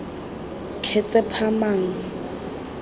ketshepamang